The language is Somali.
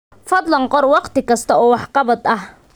Fadlan qor wakhti kasta oo waxqabad ah.